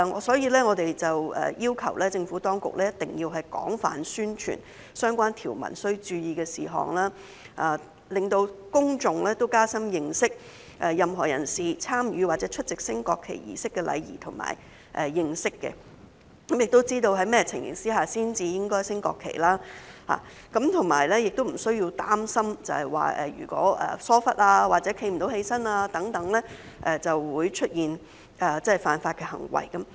所以，我們要求政府當局一定要廣泛宣傳相關條文須注意的事項，讓公眾可以加深認識任何人士參與或出席升國旗儀式的禮儀，亦要知道在甚麼情況下才應該升掛國旗，以及無須擔心疏忽或無法站立等情況會招致出現犯法行為。